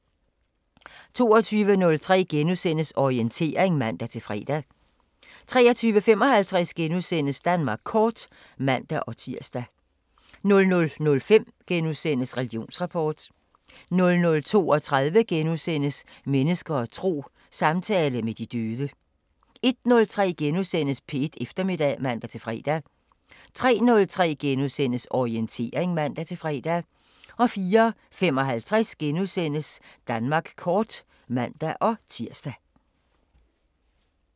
22:03: Orientering *(man-fre) 23:55: Danmark kort *(man-tir) 00:05: Religionsrapport * 00:32: Mennesker og tro: Samtale med de døde * 01:03: P1 Eftermiddag *(man-fre) 03:03: Orientering *(man-fre) 04:55: Danmark kort *(man-tir)